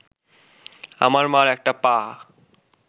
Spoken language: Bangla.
আমার মার একটা পা